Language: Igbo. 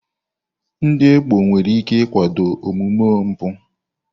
Ndị ekpo nwere ike ịkwado omume mpụ